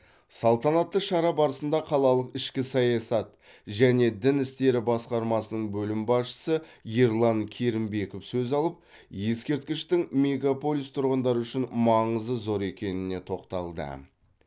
салтанатты шара барысында қалалық ішкі саясат және дін істері басқармасының бөлім басшысы ерлан керімбеков сөз алып ескерткіштің мегаполис тұрғындары үшін маңызы зор екеніне тоқталды